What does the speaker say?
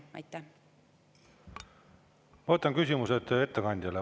Ma võtan küsimuse ettekandjale.